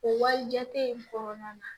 O walijate in kɔnɔna na